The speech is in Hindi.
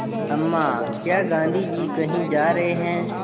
अम्मा क्या गाँधी जी कहीं जा रहे हैं